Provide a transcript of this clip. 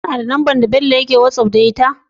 KAna da number da Bello yake whatsapp da ita?